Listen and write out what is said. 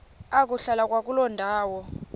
ukuhlala kwakuloo ndawo